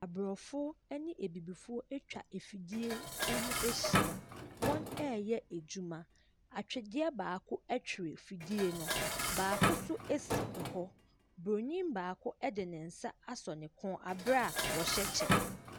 Abrɔfo ɛne abibifo atwa afidie Ɛho ahyia. Wɔn ɛɛyɛ adwuma. Atwedeɛ baako ɛtwere afidie no. Baako nso esi ɛhɔ. Bronii baako ɛde ne nsa asɔ ne kɔn abaa wɔhyɛ kyɛ.